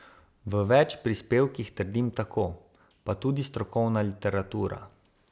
V več prispevkih trdim tako, pa tudi strokovna literatura.